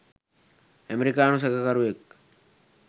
ඇමරිකානු සැකකරුවෙක්.